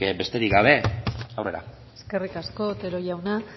besterik gabe aurrera eskerrik asko otero jauna